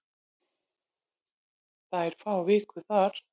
Þær fá viku þar.